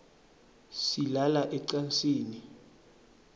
silala ecansini